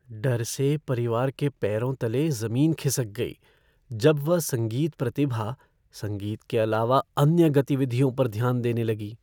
डर से परिवार के पैरों तले ज़मीन ख़िसक गई जब वह संगीत प्रतिभा संगीत के अलावा अन्य गतिविधियों पर ध्यान देने लगी।